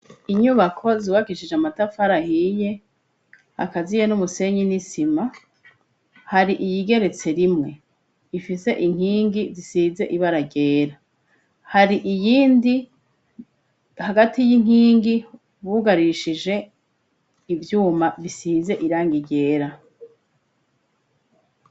Inyubako zubakishije amatafari ahiye akaziye n'umusenyi n'isima, hari iyigeretse rimwe ifise inkingi zisize ibara ryera, hari iyindi hagati y'inkingi bugarishije ivyuma bisize irangi ryera.